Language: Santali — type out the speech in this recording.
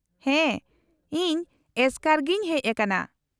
-ᱦᱮᱸ, ᱤᱧ ᱮᱥᱠᱟᱨ ᱜᱤᱧ ᱦᱮᱡ ᱟᱠᱟᱱᱟ ᱾